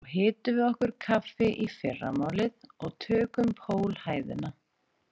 Svo hitum við okkur kaffi í fyrramálið og tökum pólhæðina